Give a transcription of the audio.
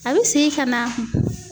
A bɛ segin ka na